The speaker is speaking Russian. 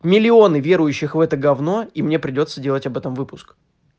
миллионы верующих в это гавно и мне придётся делать об этом выпуск